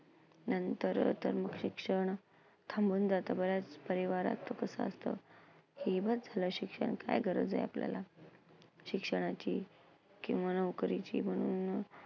नंतर तर मग शिक्षण थांबून जातं. बऱ्याच परिवाराचं तसं असतं. की हे बघ, असलं शिक्षण काय गरज आहे आपल्याला? शिक्षणाची किंवा नोकरीची